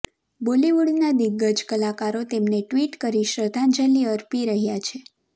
બોલીવુડના દિગ્ગજ કલાકારો તેમને ટ્વિટ કરી શ્રદ્ધાંજલિ અર્પી રહ્યા છે